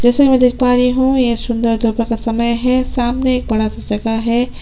जैसे की मैं देख पा रही हूँ ये सुन्दर दोपहर का समय है सामने एक बड़ा सा जगह है।